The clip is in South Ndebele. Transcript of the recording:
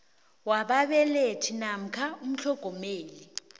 wababelethi namkha umtlhogomeli